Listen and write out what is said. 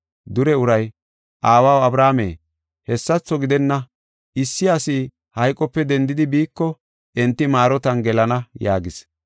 “Dure uray, ‘Aawaw Abrahaame, hessatho gidenna; issi asi hayqope dendidi biiko enti maarotan gelana’ yaagis.